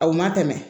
A u ma tɛmɛ